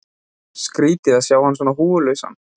Skrýtið að sjá hann svona húfulausan.